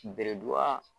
Beredu ba